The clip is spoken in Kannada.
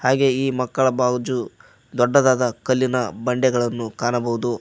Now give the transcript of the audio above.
ಹಾಗೆ ಈ ಮಕ್ಕಳ ಬಾಜು ದೊಡ್ಡದಾದ ಕಲ್ಲಿನ ಬಂಡೆಗಳನ್ನು ಕಾಣಬಹುದು.